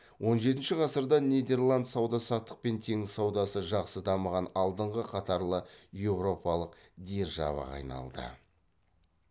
он жетінші ғасырда нидерланд сауда саттық пен теңіз саудасы жақсы дамыған алдыңғы қатарлы еуропалық державаға айналды